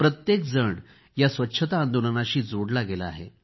प्रत्येकजण या स्वच्छता आंदोलनाशी जोडला गेला आहे